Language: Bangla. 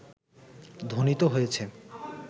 ধ্বনিত হয়েছে